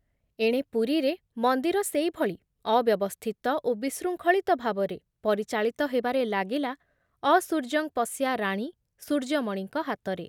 ଏଣେ ପୁରୀରେ ମନ୍ଦିର ସେଇଭଳି ଅବ୍ୟବସ୍ଥିତ ଓ ବିଶୃଙ୍ଖଳିତ ଭାବରେ ପରିଚାଳିତ ହେବାରେ ଲାଗିଲା ଅସୂର୍ଯ୍ୟଂପଶ୍ୟା ରାଣୀ ସୂର୍ଯ୍ୟମଣିଙ୍କ ହାତରେ